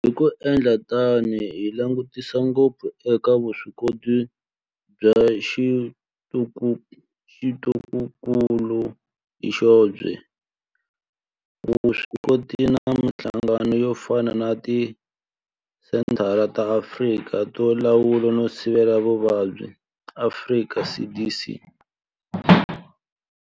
Hi ku endla tano hi langutisa ngopfu eka vuswikoti bya tikokulu hi byoxe, vuswikoti na mihlangano yo fana na Tisenthara ta Afrika to Lawula no Sivela Mavabyi, Afrika CDC.